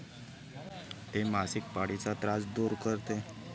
ते मासिक पाळीचा त्रास दूर करते.